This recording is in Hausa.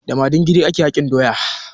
Da madingiri ake hakin doya.